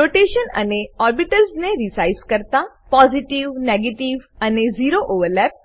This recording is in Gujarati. રોટેશન અને ઓર્બિટલ્સ ને રિસાઈઝ કરતા પોઝિટિવ નેગેટિવ અને ઝેરો ઓવરલેપ